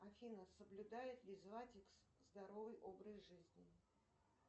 афина соблюдает ли златикс здоровый образ жизни